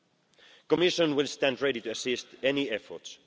The Commission will stand ready to assist any efforts.